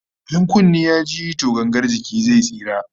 In kunne ya ji to gangar jiki zai tsira